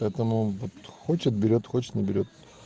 поэтому вот хочет берет хочет не берет